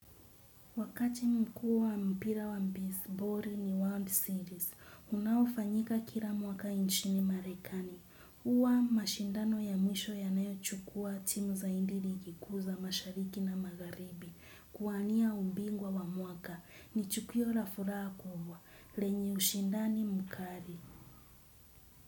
Wakati mkuu wa mpira wa mbizbori ni World Series, unaofanyika kila mwaka nchini marekani. Uwa mashindano ya mwisho ya nayo chukua timu za indiri iki kuu za mashariki na magharibi. Kuwania umbingwa wa mwaka ni chukiyo la furaha kubwa. Lenye ushindani mkari.